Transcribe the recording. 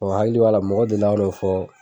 Ɔ n hakili b'a la mɔgɔ deli ka n'o fɔ